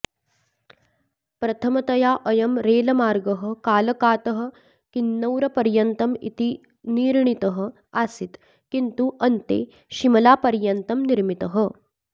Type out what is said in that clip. प्रथमतया अयं रेलमार्गः कालकातः किन्नौरपर्यन्तम् इति निर्णीतः आसीत् किन्तु अन्ते शिमलापर्यन्तं निर्मितः